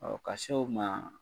Ɔɔ ka se o ma